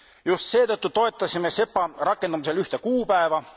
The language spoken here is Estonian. Just seetõttu toetasime SEPA rakendamisel ühte kuupäeva.